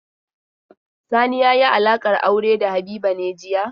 Sani ya yi alaƙar aure da Habiba ne jiya?